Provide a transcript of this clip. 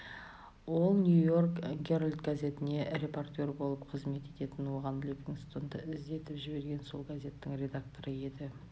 ол нью-йорк геральд газетінде репортер болып қызмет ететін оған ливингстонды іздетіп жіберген сол газеттің редакторы еді